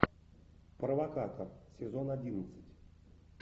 провокатор сезон одиннадцать